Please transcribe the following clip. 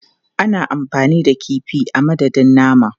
Ana amfani da kifi a madadin nama.